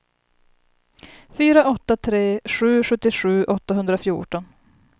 fyra åtta tre sju sjuttiosju åttahundrafjorton